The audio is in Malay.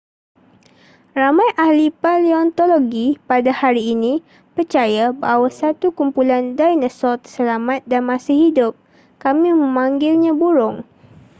ramai ahli paleontologi pada hari ini percaya bahawa satu kumpulan dinosaur terselamat dan masih hidup kami memanggilnya burung